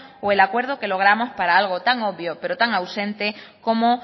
o el acuerdo que logramos para algo tan obvio pero tan ausente como